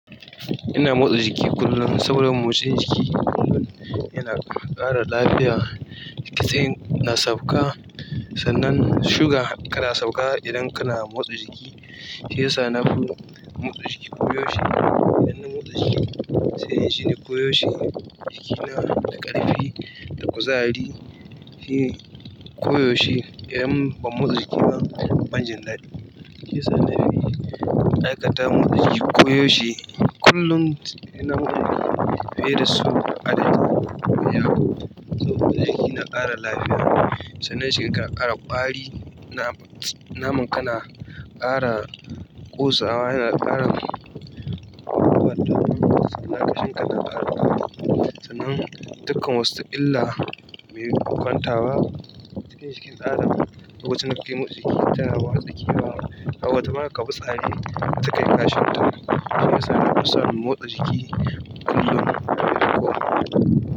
Ina motsa jiki kullum saboda motsa jiki kullum yana ƙara lafiya. To sai na sauka sannan suga tana sauka idan kana motsa jiki. Shiyasa nafi motsa jiki ko yaushe idan na motsa jiki sai injini ko yaushe jikina da ƙarfi, da kuzari. Shi ko yaushe idan ban motsa jiki ba, ban jin daɗi. Shiyasa na fi, aikata motsa jiki ko yaushe kullum yana mun aiki fiye da sau adaɗadi kullun saboda jiki na ƙara lafiya. Sai kaga jikinka na ƙara kwari namarka tana kosawa yana ƙara sannan dukkan wasu illa me bukantawa cikin jikin dan adam, lokacin da kake motsa jiki tana watsa ƙewa. Ta wata ma ƙa fi tsare wata ma kayi ƙashinta. Shiyasa nafison motsa jiki kullum yana yiwuwa.